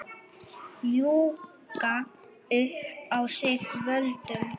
Ljúga upp á sig völdum?